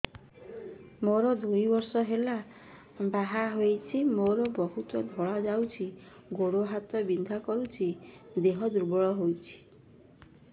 ମୁ ଦୁଇ ବର୍ଷ ହେଲା ବାହା ହେଇଛି ମୋର ବହୁତ ଧଳା ଯାଉଛି ଗୋଡ଼ ହାତ ବିନ୍ଧା କରୁଛି ଦେହ ଦୁର୍ବଳ ହଉଛି